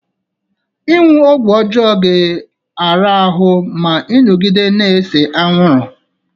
Ịṅụ ọgwụ ọjọọ ga-eri ahụ ma ị nọgide na-ese anwụrụ